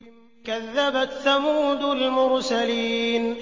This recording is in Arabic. كَذَّبَتْ ثَمُودُ الْمُرْسَلِينَ